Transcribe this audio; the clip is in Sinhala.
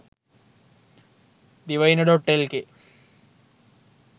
divaina.lk